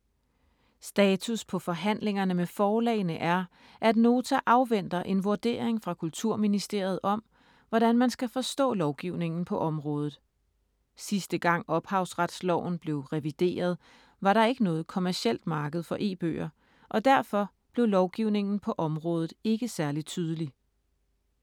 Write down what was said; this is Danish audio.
Status på forhandlingerne med forlagene er, at Nota afventer en vurdering fra Kulturministeriet om, hvordan man skal forstå lovgivningen på området. Sidste gang Ophavsretsloven blev revideret, var der ikke noget kommercielt marked for e-bøger, og derfor blev lovgivningen på området ikke særlig tydelig.